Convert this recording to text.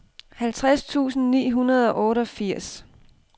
halvtreds tusind ni hundrede og otteogfirs